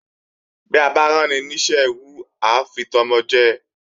Bí a bá ráni ní iṣẹ́ ẹrú á fi tọmọ jẹ